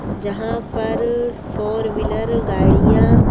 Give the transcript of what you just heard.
जहाँ पर four wheeler गाड़ियाँ --